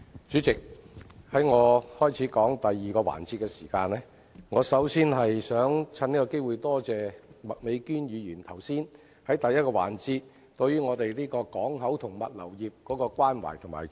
主席，在我開始就第二個辯論環節的主題發言前，我想藉此機會感謝麥美娟議員在第一個辯論環節對港口及物流業表達關懷和支持。